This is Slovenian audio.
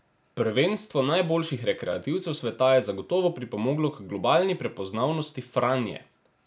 Prvenstvo najboljših rekreativcev sveta je zagotovo pripomoglo k globalni prepoznavnosti Franje.